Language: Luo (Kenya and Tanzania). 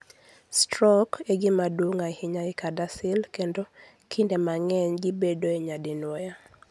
Stroke e gima duong ' ahinya e CADASIL kendo kinde mang'eny gibedoe nyadinwoya.